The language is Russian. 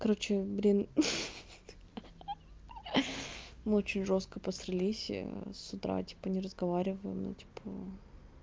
короче блин ха-ха мы очень жёстко посрались с утра типа не разговариваем ну типа